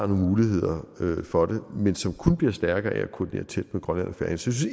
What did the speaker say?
muligheder for det men som kun bliver stærkere af at koordinere tæt med grønland jeg synes